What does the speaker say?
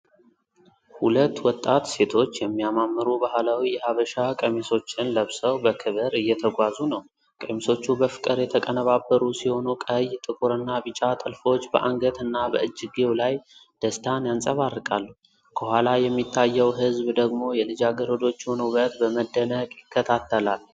ሁለት ወጣት ሴቶች የሚያማምሩ ባህላዊ የሐበሻ ቀሚሶችን ለብሰው በክብር እየተጓዙ ነው። ቀሚሶቹ በፍቅር የተቀነባበሩ ሲሆኑ ቀይ፣ ጥቁርና ቢጫ ጥልፎች በአንገት እና በእጅጌው ላይ ደስታን ያንፀባርቃሉ። ከኋላ የሚታየው ህዝብ ደግሞ የልጃገረዶቹን ውበት በመደነቅ ይከታተላል።